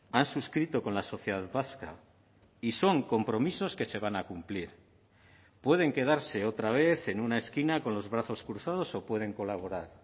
han suscrito con la sociedad vasca y son compromisos que se van a cumplir pueden quedarse otra vez en una esquina con los brazos cruzados o pueden colaborar